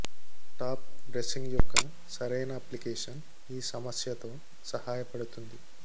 top dressing యొక్క సరైన application ఈ సమస్య తో సహాయపడుతుంది